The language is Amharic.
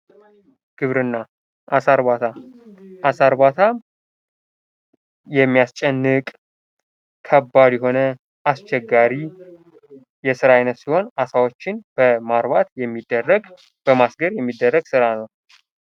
ግብርና አሣ እርባታ:-አሣ እርባታ የሚያስጨንቅ ከባድ የሆነ አስቸጋሪ የስራ አይነት ሲሆን አሳዎችን በማርባት የሚደረግ በማሰገር የሚደረግ ስራ ነው።